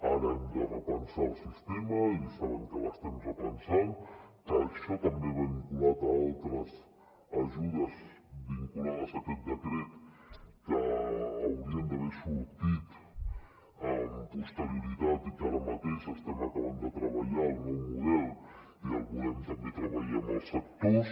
ara hem de repensar el sistema i saben que l’estem repensant que això també va vinculat a altres ajudes vinculades a aquest decret que haurien d’haver sortit amb posterioritat i que ara mateix estem acabant de treballar el nou model i el volem també treballar amb els sectors